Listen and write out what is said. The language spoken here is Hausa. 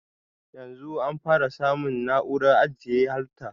Yanzun an fara samun ofis masu na'uran ajiye halrta